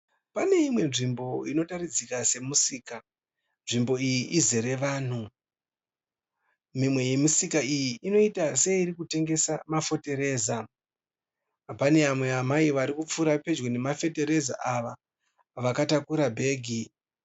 Pane imwe nzvimbo inotaridzika semusika, nzvimbo iyi izere vanhu. Mimwe yemisika iyi inoita seiri kutengesa mafotereza. Pane vamwe amai vari kupfuura pedyo nemafotereza ava vakataura bhegi.